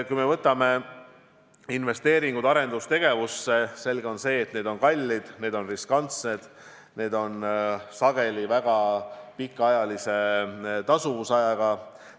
Kui me võtame investeeringud arendustegevusse, siis on selge, et need on kallid, need on riskantsed, need on sageli väga pikaajalise tasuvusajaga.